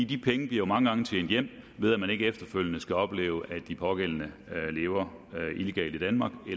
de penge bliver mange gange tjent hjem ved at man ikke efterfølgende skal opleve at de pågældende lever illegalt i danmark